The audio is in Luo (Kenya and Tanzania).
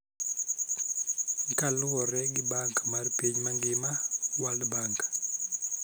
Kaluwore gi Bank mar Piny mangima (World Bank).